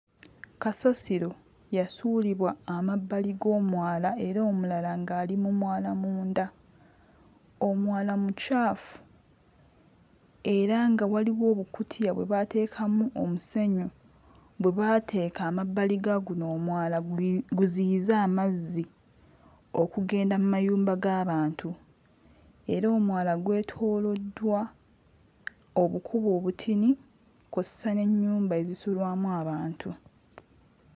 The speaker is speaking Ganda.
Kasasiro yasuulibwa amabbali g'omwala era omulala ng'ali mu mwala munda. Omwala mukyafu era nga waliwo obukutiya bwe baateekamu omusenyu bwe bebateeka ammabbali ga guno omwala gu guziyize amazzi okugenda mu mayumba g'abantu era omwala gwetooloddwa obukubo obutini kw'ossa n'ennyumba ezisulwamu abantu.